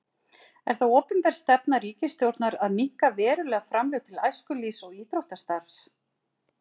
Er það opinber stefna ríkisstjórnar að minnka verulega framlög til æskulýðs- og íþróttastarfs?